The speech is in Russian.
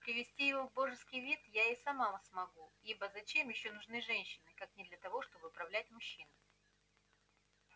привести его в божеский вид я и сама смогу ибо зачем ещё нужны женщины как не для того чтобы управлять мужчиной